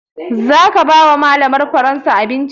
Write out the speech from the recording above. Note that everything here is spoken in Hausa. Za ka ba wa malamar faransa abinci?